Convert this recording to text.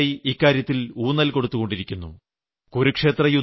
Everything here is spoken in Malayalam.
ഭാരതം നൂറ്റാണ്ടുകളായി ഇക്കാര്യത്തിൽ ഊന്നൽ കൊടുത്തുകൊണ്ടിരിക്കുന്നു